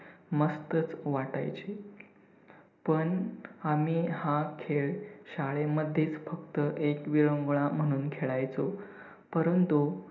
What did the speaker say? मस्तच वाटायचे! पण आम्ही हा खेळ शाळेमध्येच फक्त एक विरंगुळा म्हणून खेळायचो. परंतु